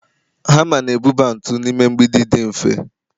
hama na-ebuba ntu n'ime mgbidi dị mfe